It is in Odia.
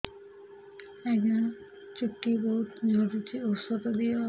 ଆଜ୍ଞା ଚୁଟି ବହୁତ୍ ଝଡୁଚି ଔଷଧ ଦିଅ